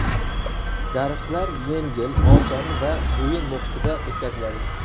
Darslar yengil, oson va o‘yin muhitida o‘tkaziladi”.